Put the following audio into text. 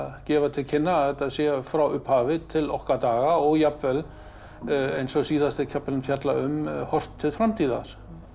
gefa til kynna að þetta sé frá upphafi til okkar daga og jafnvel eins og síðasti kaflinn fjallar um horft til framtíðar